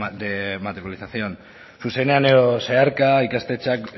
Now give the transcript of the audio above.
de matriculación zuzenean edo zeharka ikastetxeak